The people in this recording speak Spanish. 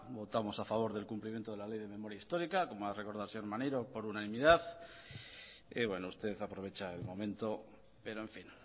votamos a favor del cumplimiento de la ley de memoria histórica como ha recordado el señor maneiro por unanimidad y usted aprovecha el momento pero en fin